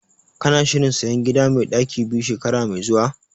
Kana shirin sayan gida mai ɗaki biyu shekara mai zuwa?